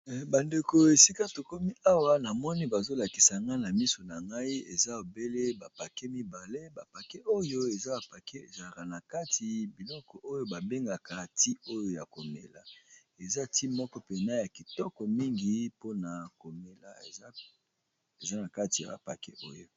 Bandeko esika tokomi awa na moni bazolakisa nga na miso na ngai eza ebele bapake mibale, bapake oyo eza bapake ezalaka na kati biloko oyo babengaka ti oyo ya komela, eza ti moko mpena ya kitoko mingi mpona komela eza na kati yapaket oyo.